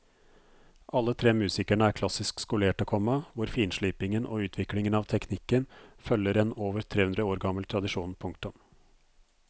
Alle tre musikerne er klassisk skolerte, komma hvor finslipingen og utviklingen av teknikken følger en over tre hundre år gammel tradisjon. punktum